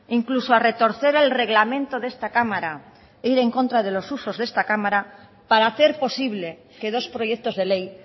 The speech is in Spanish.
incluso a retorcer el reglamento de esta cámara e ir en contra de los usos de esta cámara para hacer posible que dos proyectos de ley